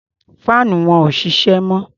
Faanu wọn ò ṣiṣẹ́ mọ́.